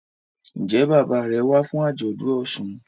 Njé Bàbá rẹ wá fún ajọdun òsùn?